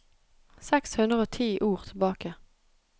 Seks hundre og ti ord tilbake